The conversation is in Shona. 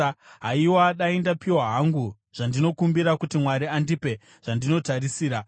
“Haiwa, dai ndapiwa hangu zvandinokumbira kuti Mwari andipe zvandinotarisira,